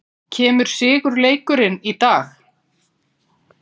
Kemur sigurleikurinn í dag?